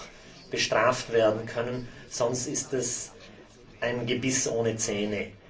Das muss auch bestraft werden können, sonst ist das ein Gebiss ohne Zähne.